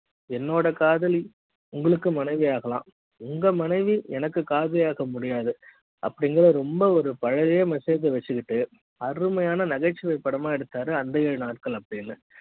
என்னோட காதலி உங்களுக்கு மனைவியாகலாம் உங்க மனைவி எனக்கு காதலியாக முடியாது அப்படிங்குற ரொம்ப ஒரு பழைய message வச்சுக்கிட்டு அருமையான நகைச்சுவை படம் எடுத்தாறு அந்த ஏழு நாட்கள்